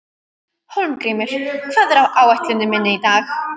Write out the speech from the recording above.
Hólmgrímur, hvað er á áætluninni minni í dag?